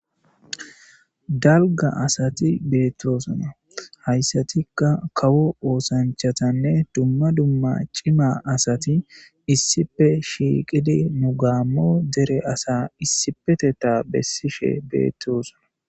dalga asati beetoosna hayssatikka kawo oosanchatanne dumma dumma cima asati issife shiiqidi mugammo dere asa issipeteta bessishe beettosona